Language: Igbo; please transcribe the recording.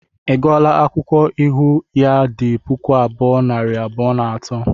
I gụọla akwụkwọ ịhụ ya di puku abuo, nari abụọ na atọ?